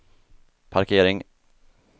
parkering